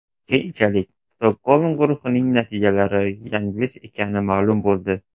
Keyinchalik, Stokgolm guruhining natijalari yanglish ekani ma’lum bo‘ldi.